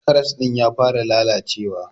karas din ya fara lallacewa.